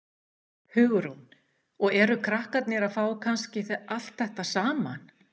Hugrún: Og eru krakkar að fá kannski allt þetta saman?